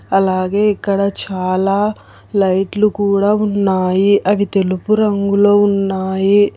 అలాగే ఇక్కడ చాలా లైట్లు కూడా ఉన్నాయి అవి తెలుపు రంగులో ఉన్నాయి.